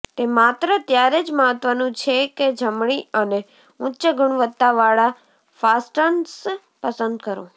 તે માત્ર ત્યારે જ મહત્વનું છે કે જમણી અને ઉચ્ચ ગુણવત્તાવાળા ફાસ્ટનર્સ પસંદ કરો